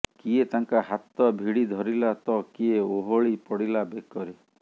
କିଏ ତାଙ୍କ ହାତ ଭିଡି ଧରିଲା ତ କିଏ ଓହଳି ପଡିଲା ବେକରେ